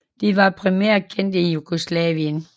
De var primært kendt i Jugoslavien